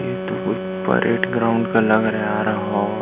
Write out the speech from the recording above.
ये तो कोई परेड ग्राउंड का लग रहा है यार ह --